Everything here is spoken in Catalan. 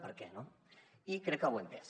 per què i crec que ho he entès